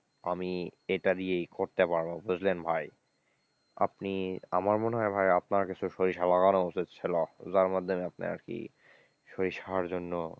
আমি এইটা দিয়েই করতে পারব বুঝলেন ভাই, আপনি আমার মনে হয় ভাই আপনার কিছু সরিষা লাগানা উচিত ছিল, যার মধ্যে আপনি আর কি সরিষার জন্য,